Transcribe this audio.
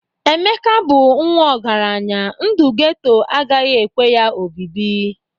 Emeka bụ nwa ọgaranya, ndu geto agaghị ekwe ya obibi